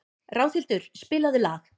Ráðhildur, spilaðu lag.